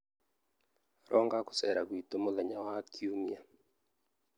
Ronga gũceera gwitũ mũthenya wa Kiumia.